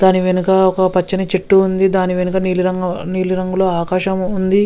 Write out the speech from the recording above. దాని వెనుక ఒక పచ్చని చెట్టు ఉంది. దాని వెనుక ఆకు నీలి రంగు ఆకాశం ఉంది.